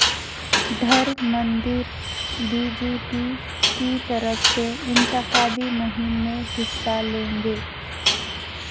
Dharmendra B J P کی طرف سے انتخابی مہم میں حصہ لیں گے